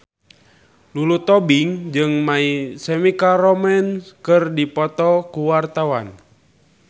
Lulu Tobing jeung My Chemical Romance keur dipoto ku wartawan